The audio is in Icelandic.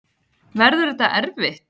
Verður þetta erfitt?